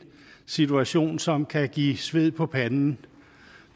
situation som kan give sved på panden